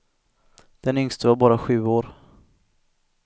Den yngste var bara sju år.